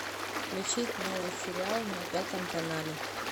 включить новый сериал на пятом канале